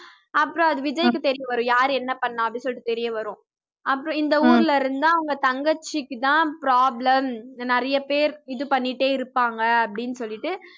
அப்புறம் அது விஜய்க்கு தெரியவரும் யாரு என்ன பண்ணா அப்படி சொல்லிட்டு தெரியவரும் அப்புறம் இந்த ஊர்ல இருந்தா அவ்ங்க தங்கச்சிக்கு தான் problem நறைய பேர் இது பண்ணிட்டே இருப்பாங்க அப்படின்னு சொல்லிட்டு